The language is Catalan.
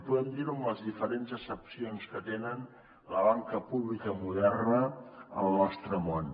podem dir ho amb les diferents accepcions que té la banca pública moderna al nostre món